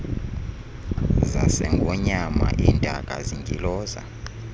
zasengonyama iintaka zintyiloza